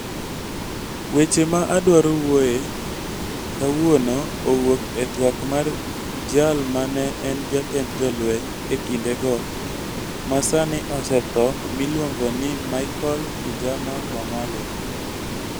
Weche ma adwaro wuoyoe kawuono owuok e twak ma jal ma ne en jatend jolweny e kindego, ma sani osetho miluongo ni Michael Kijana Wamalwa.